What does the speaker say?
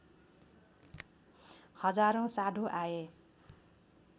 हजारौँ साधु आए